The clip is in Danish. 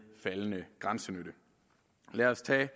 faldende grænsenytte lad os tage